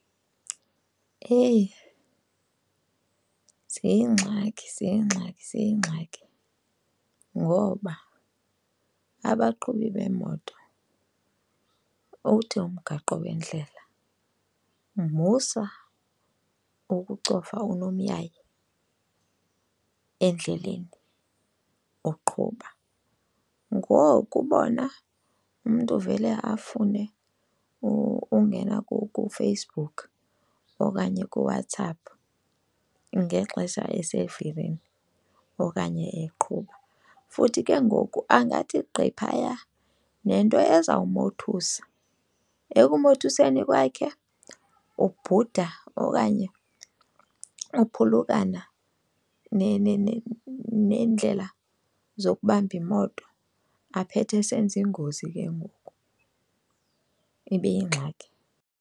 Eyi, ziingxaki ziingxaki ziingxaki ngoba abaqhubi beemoto uthi umgaqo wendlela musa ukucofa unomyayi endleleni uqhuba. Ngoku bona umntu vele afune ungena kuFacebook okanye kuWhatsApp ngexesha esendleleni okanye eqhuba futhi ke ngoku angathi gqi phaya nento eza kumothusa. Ekumothuseni kwakhe ubhuda okanye uphulukana neendlela zokubamba imoto aphethe esenza iingozi ke ngoku, ibe yingxaki.